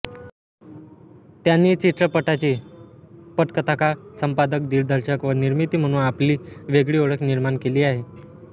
त्यांनी चित्रपटाची पटकथाकार संपादकदिग्दर्शक व निर्मिती म्हणून आपली वेगळी ओळख निर्माण केली आहे